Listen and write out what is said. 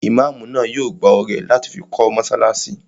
Imáamù náà yóò gbá ọrẹ láti fi kọ́ mọ́sálásí